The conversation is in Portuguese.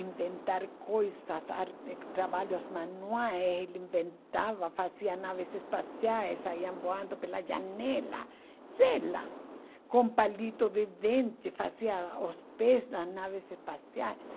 inventar coisas arte trabalhos manuais, ele inventava, fazia naves espaciais, saiam voando pela janela, vela, com palito de dente, fazia os pés das naves espaciais.